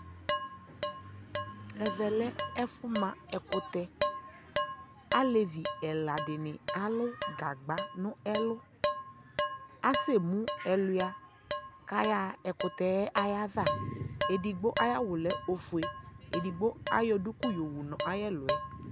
Ɛvɛ lɛ ɛfʋma ɛkʋtɛ Alɛvi ɛla dini alʋ gagba nʋ ɛlʋ Asɛmu ɛlʋa kayaɣa ɛkʋtɛ yɛ ava Ɛdigbo ayawʋ lɛ ofue, ɛdigbo ayɔ duku yɔwu n'ayɛ lʋ ɛ